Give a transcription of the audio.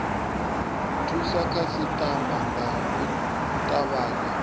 thusa khasitama nga u tavhanya